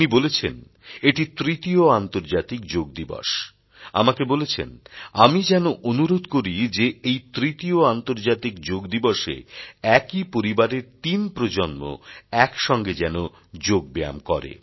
তিনি বলেছেন এটি তৃতীয় আন্তর্জাতিক যোগ দিবস আমাকে বলছেন আমি যেন অনুরোধ করি যে এই তৃতীয় আন্তর্জাতিক যোগ দিবসে একই পরিবারের তিন প্রজন্ম এক সঙ্গে যেন যোগ ব্যায়াম করে